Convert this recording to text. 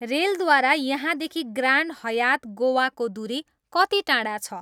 रेलद्वारा यहाँदेखि grand Hyatt गोवाको दुरी कति टाढा छ